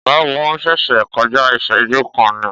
Ọ̀gágun ṣẹ̀ṣẹ̀ kọjá ìṣẹ́jú kan ni.